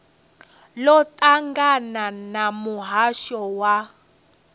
ḽo ṱangana na muhasho wa